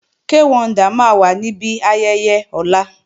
Kay Wonder máa wà níbi ayẹyẹ ọ̀la